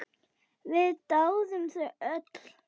Við dáðum þig öll.